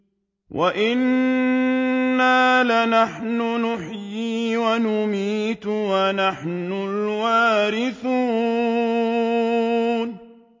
وَإِنَّا لَنَحْنُ نُحْيِي وَنُمِيتُ وَنَحْنُ الْوَارِثُونَ